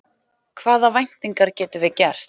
Hvaða væntingar getum við gert?